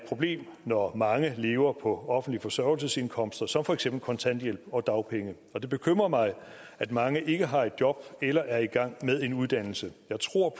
problem når mange lever på offentlige forsørgelsesindkomster som for eksempel kontanthjælp og dagpenge og det bekymrer mig at mange ikke har et job eller er i gang med en uddannelse jeg tror